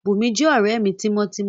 Bùnmi jẹ́ ọ̀rẹ́ mi tímọ́ tímọ́